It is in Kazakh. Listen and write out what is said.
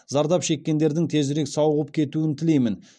зардап шеккендердің тезірек сауығып кетуін тілеймін